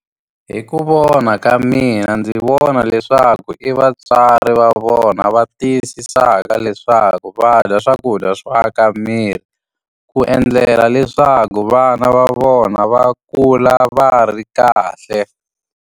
Hi ku vona ka mina ndzi vona leswaku i vatswari va vona va tiyisisaka leswaku va dya swakudya swo aka miri, ku endlela leswaku vana va vona va kula va ri kahle.